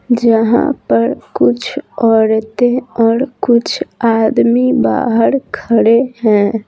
जहाँ पर कुछ औरतें और कुछ आदमी बाहर खड़े है।